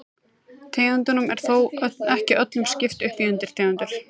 Tegundum er þó ekki öllum skipt upp í undirtegundir.